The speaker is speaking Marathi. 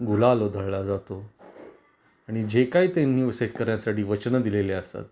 गुलाल उधळला जातो आणि जे काही त्यांनी शेतकऱ्यांसाठी वचन दिलेले असतात